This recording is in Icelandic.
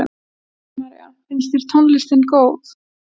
Kristín María: Finnst þér tónlistin góð?